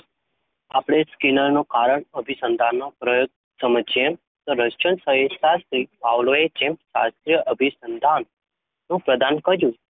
આપણે સ્કિનરનો કારણ અભિસંધાનનો પ્રયોગ સમજ્યે રશિયન શરીરશાસ્ત્રી પાવલોવે જેમ શાસ્ત્રીય અભિસંધાનમાં પ્રદાન કર્યું